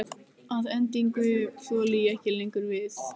Að endingu þoli ég ekki lengur við.